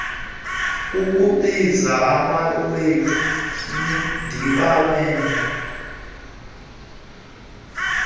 kukubiza amawethu ndiwabele